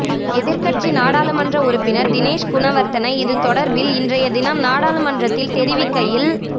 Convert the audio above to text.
எதிர்க்கட்சி நாடாளுமன்ற உறுப்பினர் தினேஷ் குணவர்தன இது தொடர்பில் இன்றையதினம் நாடாளுமன்றத்தில் தெரிவிக்கையில்